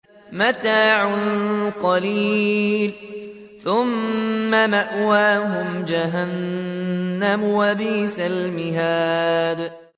مَتَاعٌ قَلِيلٌ ثُمَّ مَأْوَاهُمْ جَهَنَّمُ ۚ وَبِئْسَ الْمِهَادُ